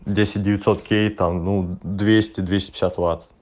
десять девятьсот кей там ну двести двести пятьдесят ватт